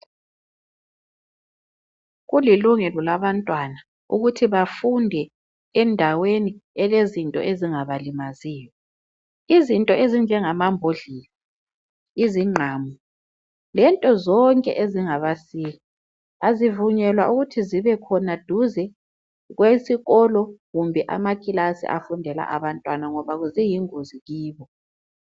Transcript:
kulilungelo labantwana ukuthi bafunde endaweni elzinto ezingabalimaziyo izinto ezinjengama mbodlela izinqamu lento zonke ezingaba sika azivunyelwa ukuthi zibe khona duze kwesikolo kumbe amakilasi afundela abantana ngoba kuyingozi kibo